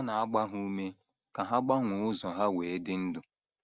Ọ na - agba ha ume ka ha gbanwee ụzọ ha wee dị ndụ.